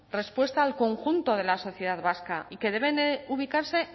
respuesta al conjunto de la sociedad vasca y que deben ubicarse